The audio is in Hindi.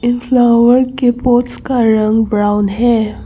फ्लावर के पोट्स का रंग ब्राउन है।